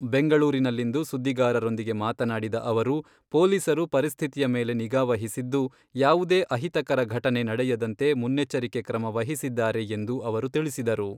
ಬೆಂಗಳೂರಿನಲ್ಲಿಂದು ಸುದ್ದಿಗಾರರೊಂದಿಗೆ ಮಾತನಾಡಿದ ಅವರು, ಪೊಲೀಸರು ಪರಿಸ್ಥಿತಿಯ ಮೇಲೆ ನಿಗಾ ವಹಿಸಿದ್ದು, ಯಾವುದೇ ಅಹಿತಕರ ಘಟನೆ ನಡೆಯದಂತೆ ಮುನ್ನೆಚ್ಚರಿಕೆ ಕ್ರಮ ವಹಿಸಿದ್ದಾರೆ ಎಂದು ಅವರು ತಿಳಿಸಿದರು.